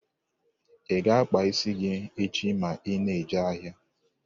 Ị ga-akpa isi gị echi ma ị na-eje ahịa?